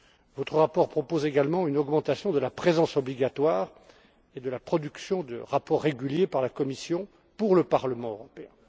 Votre rapport propose également une augmentation de la présence obligatoire et de la production de rapports réguliers par la Commission à l'intention du Parlement européen.